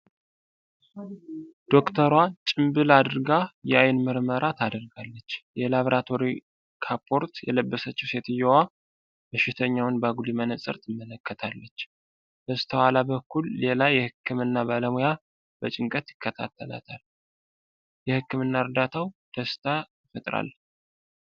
ዶክተሯ ጭምብል አድርጋ የዓይን ምርመራ ታደርጋለች። የላብራቶሪ ካፖርት የለበሰችው ሴትየዋ፣ በሽተኛውን በአጉሊ መነጽር ትመለከታለች። በስተኋላ በኩል ሌላ የህክምና ባለሙያ በጭንቀት ይከታተላል። የህክምና እርዳታው ደስታ ይፈጥራል!!።